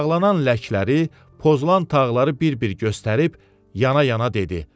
Ayaqlanan ləkləri, pozulan tağları bir-bir göstərib yana-yana dedi: